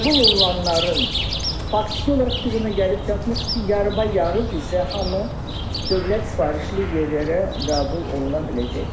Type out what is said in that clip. Qəbul olunanların faktiki olaraq biz ona gəlib çatmışıq ki, yarıb-yarı bizə hamı dövlət sifarişli yerlərə qəbul oluna biləcəkdir.